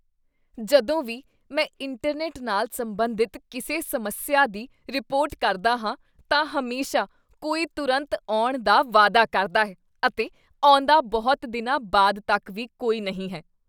ਜਦੋਂ ਵੀ ਮੈਂ ਇੰਟਰਨੈੱਟ ਨਾਲ ਸੰਬੰਧਿਤ ਕਿਸੇ ਸਮੱਸਿਆ ਦੀ ਰਿਪੋਰਟ ਕਰਦਾ ਹਾਂ ਤਾਂ ਹਮੇਸ਼ਾ ਕੋਈ ਤੁਰੰਤ ਆਉਣ ਦਾ ਵਾਅਦਾ ਕਰਦਾ ਹੈ ਅਤੇ ਆਉਂਦਾ ਬਹੁਤ ਦਿਨਾਂ ਬਾਅਦ ਤੱਕ ਵੀ ਕੋਈ ਨਹੀਂ ਹੈ।